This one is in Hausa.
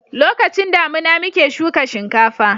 lokacin damina muke shuka shinkafa